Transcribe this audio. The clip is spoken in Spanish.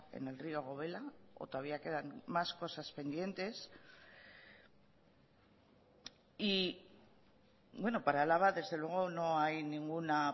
en el río gobela o todavía quedan más cosas pendientes y bueno para álava desde luego no hay ninguna